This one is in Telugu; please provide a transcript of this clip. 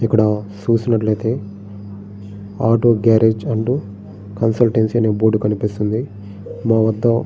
ఇక్కడ చూసినట్లయితే auto garage and consultancy board కనిపిస్తుంది. మా వద్ద --